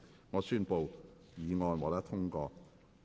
我宣布議案獲得通過。